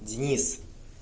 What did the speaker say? денис